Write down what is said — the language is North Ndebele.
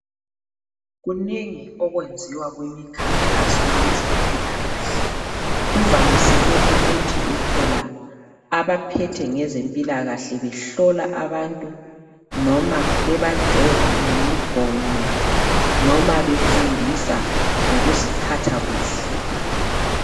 Kunengi okwenziwa kumikhankasweni yezempilakahle. Kuvamiseke ukuthi uthola abaphethe ngezempilakahle behlola abantu noma bebajova ngemigomo noma befundisa ngokuziphatha kuhle.